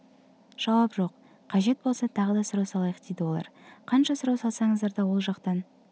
жауап жоқ қажет болса тағы да сұрау салайық дейді олар қанша сұрау салсаңыздар да ол жақтан